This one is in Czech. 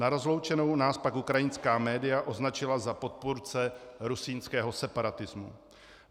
Na rozloučenou nás pak ukrajinská média označila za podpůrce rusínského separatismu.